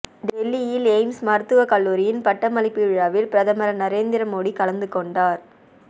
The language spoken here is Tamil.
டெல்லியில் எய்ம்ஸ் மருத்துவ கல்லூரியின் பட்டமளிப்பு விழாவில் பிரதமர் நரேந்திர மோடி கலந்து கொண்டார்